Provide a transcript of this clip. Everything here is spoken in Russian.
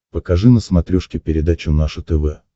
покажи на смотрешке передачу наше тв